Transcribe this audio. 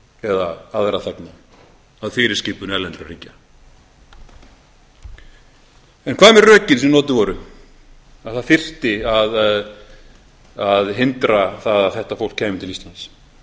eða aðra þegna að fyrirskipun erlendra ríkja en hvað með rökin sem notuð voru að það þyrfti að hindra það að þetta fólk kæmi til íslands